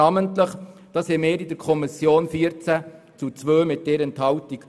Der Entscheid darüber in der Kommission fiel mit 14 gegen 2 Stimmen bei 1 Enthaltung.